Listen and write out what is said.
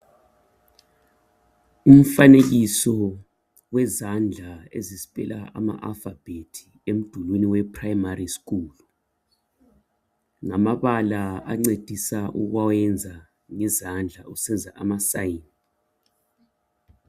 umfanekiso wezandla ezi speller ama alphabet emdulini we primary school ngamabala ancedisa ukwenza ngezandla usenza ama sign